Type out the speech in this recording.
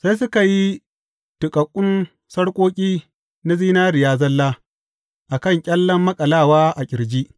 Sai suka yi tuƙaƙƙun sarƙoƙi na zinariya zalla a kan ƙyallen maƙalawa a ƙirji.